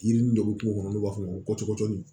Yirini dɔ b'u kɔnɔ n'u b'a f'o ma ko cɔdi